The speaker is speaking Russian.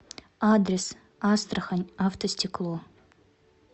адрес астрахань автостекло